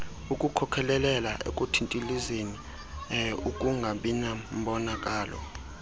ukukhokhelela ekuthintilizeni ukungabinambonakalo